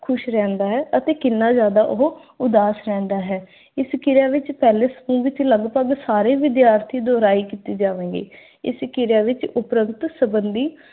ਕਿੰਨਾ ਖੁਸ਼ ਰਹਿੰਦਾ ਹੈ ਅਤੇ ਕਿੰਨਾ ਜ਼ਿਆਦਾ ਉਹ ਉਦਾਸ ਰਹਿੰਦਾ ਹੈ। ਇਸ ਕਿਰਿਆ ਵਿੱਚ ਪਹਿਲੇ ਦੜ ਵਿੱਚ ਲਗਭਗ ਸਾਰੇ ਵਿਦਿਆਰਥੀ ਦੁਹਰਾਈ ਕੀਤੀ ਜਾਵੇਗੀ। ਇਸ ਕਿਰਿਆ ਵਿੱਚ ਜਸਜਸ ਸੰਬੰਧੀ